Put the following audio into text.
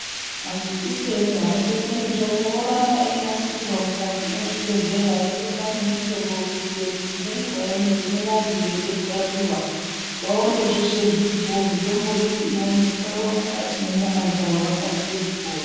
Majekiseni anobekwe mitombo oramba einasirwa mukati mwezvibhedhlera eyibekwa nemitombo kuitire kuti ngenguwa inogume vanhu veida kurapiwa vaone mitombo iyi zveshe zviripo mitombo iyi ione kubaiwa mukati mwenyama dzavo vakasire kupora.